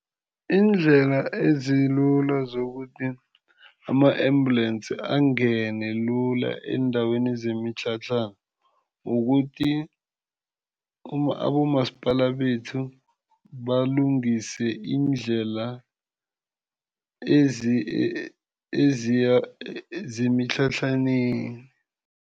Iindlela ezilula zokuthi ama-ambulensi angene lula eendaweni zemitlhatlhana kukuthi abomasipala bethu balungise iindlela zemitlhatlhaneni.